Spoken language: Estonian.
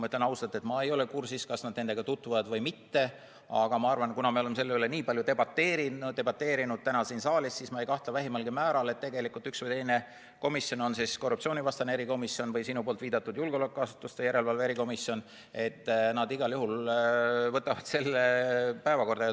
Ma ütlen ausalt, et ma ei ole kursis, kas nad nende tutvuvad või mitte, aga ma arvan, et kuna me oleme selle üle nii palju debateerinud, ka täna siin saalis, siis ma ei kahtle vähimalgi määral, et üks või teine komisjon, on see siis korruptsioonivastane erikomisjon või sinu viidatud julgeolekuasutuste järelevalve erikomisjon, igal juhul võtab selle päevakorda.